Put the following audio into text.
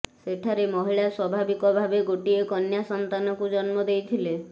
ସେଠାରେ ମହିଳା ସ୍ୱାଭାବିକଭାବେ ଗୋଟିଏ କନ୍ୟା ସନ୍ତାନକୁ ଜନ୍ମ ଦେଇଥିଲେ